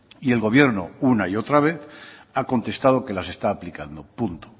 y el gobierno una y otra vez ha contestado que las está aplicando punto